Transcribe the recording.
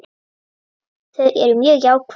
Þau eru mjög jákvæð.